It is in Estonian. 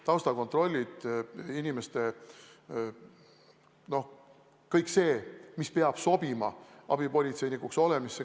Taustakontroll toimub nii nagu tavapäraselt, inimesed peavad sobima abipolitseinikuks.